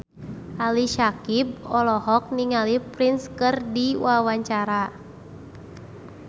Ali Syakieb olohok ningali Prince keur diwawancara